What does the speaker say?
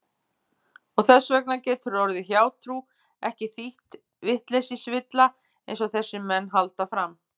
Og þess vegna getur orðið hjátrú ekki þýtt vitleysisvilla einsog þessir menn halda fram.